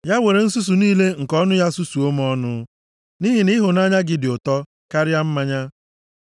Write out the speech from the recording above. Ya were nsusu niile nke ọnụ ya susuo m ọnụ, nʼihi na ịhụnanya gị dị ụtọ karịa mmanya.